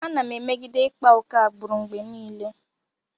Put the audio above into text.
Ana m emegide ịkpa oke agbụrụ mgbe niile.